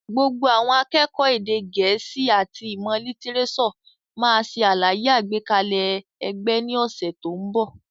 Gbogbo àwọn akẹ́kọ̀ọ́ èdè gẹ̀ẹ́sì àti ìmọ̀ lítírésọ̀ máa ṣe àlàyé àgbékalẹ̀ ẹgbẹ́ ní ọ̀sẹ̀ tó ń bọ̀.